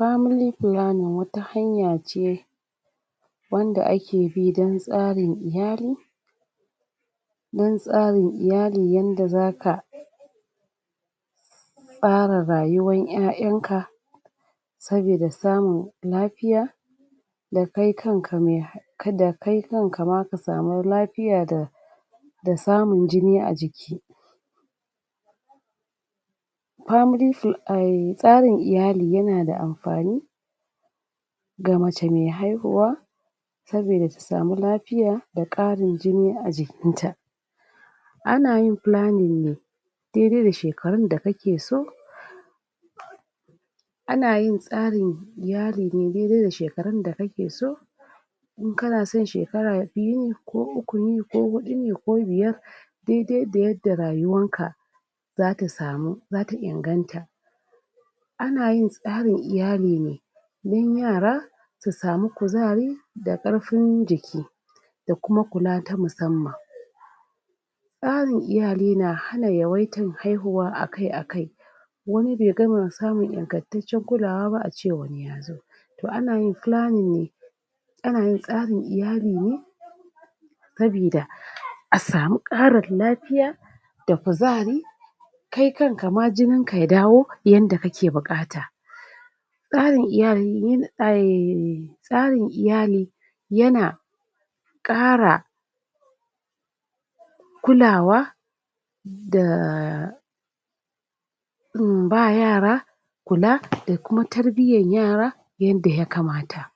Family planning wata hanya ce wanda ake bi don tsarin iyali don tsarin iyali wanda za ka tsara rayuwar ƴaƴanka saboda samun lafiya da kai kanaka ma ka samu lafiya da don samun jini a jiki. Family planning tsarin iyali yana da amfani ga mace mai haihuwa saboda ta samu lafiya daƙarin jini a jikinta Ana yin planning ne dai-dai da shekarun da kake so ana yin tsarin iyali ne daidai da shekarun da kake so in kana son shekara biyu ko uku ne ko huɗu ne ko biyar dai-dai da yadda rayuwarka za ta samu za ta inganta ana yin tsarin iyali ne don yara su samu kuzari da ƙarfin jiki da kuma kula ta musamman tsarin iyali na hana yawaitan haihuwa akai-akai wani bai gama samun ingantacciyar kulawa ba a ce wani ya zo to ana yin planning ne ana yin tsarin iyali ne sabida a samu ƙarin lafiya da kuzari kai kanaka ma jininka ya dawo yadda ya kamata Tsarin iyali, ai tsarin iyali yana ƙara kulawa da ba yara kula da kuma tarbiyyar yara yanda ya kamata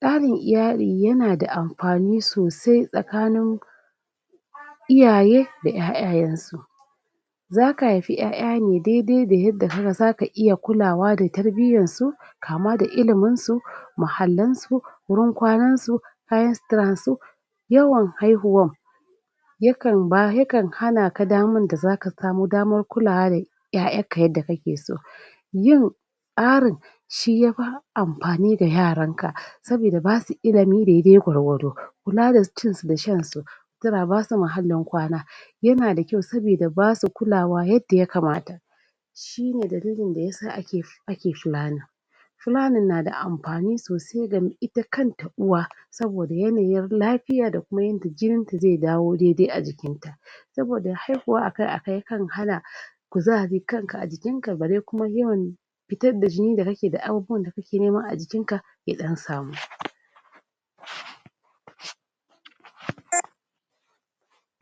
Tsarin iyali yana da amfani sosai tsakanin iyaye da ƴaƴayensu. za ka haifi ƴaƴa ne daidai da yadda har za ka iya kulawa da tarbiyyarsu kama da iliminsu muhallansu wurin kwanansu kayan suturarsu, Yawan haihuwan yakan ba, yakan hana ka damar da za ka samu daman kulawa da ƴaƴanka yanda kake so yin tsarin shi ya fi amfani da yaranka saboda ba su ilimin dadai gwargwado kula da cinsu da shansu sutura, ba su muhallin kwana yana da kyau saboda ba su kulawa yadda ya kamata. shi ne dalilin da yasa ake planning Planning na da amfani sosai ga ita kanta uwa Saboda yanayin lafiya da kuma yadda jininta zai dawo a jikinta. Saboda haihuwa akai-akai yakan hana ku za a ji kanka a jikinka bare kuma fitar da jini da kake da abubuwan da kake nema a jikin ka ya ɗan samu